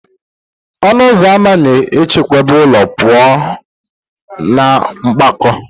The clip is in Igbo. Ọnụ ụzọ ama na-echebe ụlọ pụọ na mwakpo